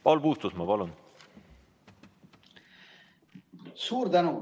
Paul Puustusmaa, palun!